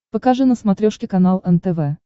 покажи на смотрешке канал нтв